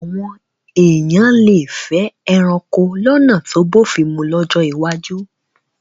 Àwọn èèyàn lè fẹ́ ẹranko lọ́nà tó bófin mu lọ́jọ́ iwájú